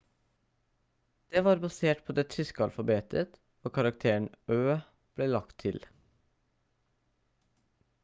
det var basert på det tyske alfabetet og karakteren «õ/õ» ble lagt til